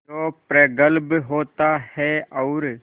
जो प्रगल्भ होता है और